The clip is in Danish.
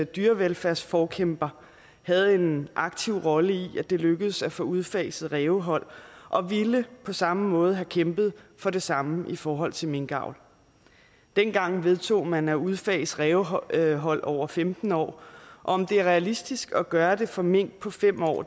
dyrevelfærdsforkæmper havde en aktiv rolle i at det lykkedes at få udfaset rævehold og ville på samme måde have kæmpet for det samme i forhold til minkavl dengang vedtog man at udfase rævehold rævehold over femten år og om det er realistisk at gøre det for mink på fem år